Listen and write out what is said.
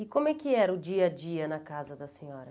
E como é que era o dia a dia na casa da senhora?